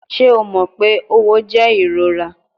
Ṣe o mọ pe õwo jẹ irora?